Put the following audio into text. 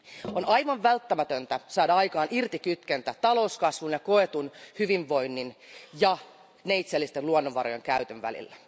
On aivan välttämätöntä saada aikaan irtikytkentä talouskasvun ja koetun hyvinvoinnin ja neitseellisten luonnonvarojen käytön välillä.